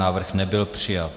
Návrh nebyl přijat.